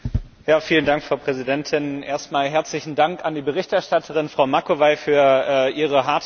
Frau Präsidentin! Erstmal herzlichen Dank an die Berichterstatterin, Frau Macovei, für ihre harte Arbeit.